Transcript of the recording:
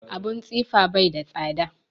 Abun tsifa bai da tsada